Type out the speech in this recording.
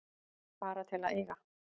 Bara til að eiga.